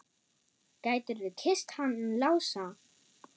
Gætirðu kysst hann Lása?